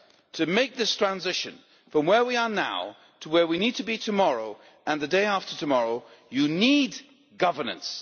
To make this transition from where we are now to where we need to be tomorrow and the day after tomorrow, you need governance